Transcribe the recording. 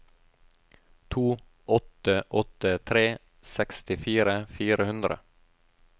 to åtte åtte tre sekstifire fire hundre